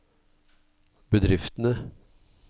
bedriftene